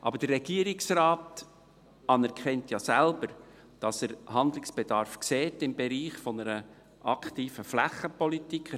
Aber der Regierungsrat anerkennt ja selbst, dass er Handlungsbedarf im Bereich einer aktiven Flächenpolitik sieht.